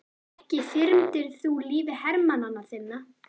Ekki þyrmdir þú lífi hermanna þinna?